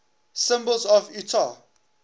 symbols of utah